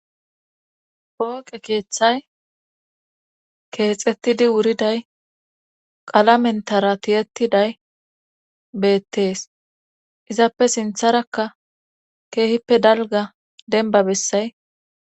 pooqe keeththay keexettidi wuriday qalamentara tiyettiday beettees izappe sintharakka keehippe dalga denba bessay.